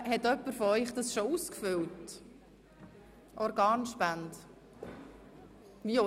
Haben Sie den Ausweis dazu bereits ausgefüllt?